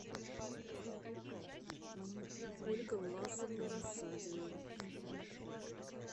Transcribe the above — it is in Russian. ольга власовна рассадина